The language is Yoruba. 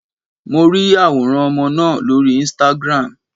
Mo ri àwòrán ọmọ náà lórí Instagram.